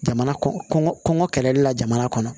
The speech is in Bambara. Jamana kɔnɔn kɔnɔn kɔngɔ kɛlɛli la jamana kɔnɔ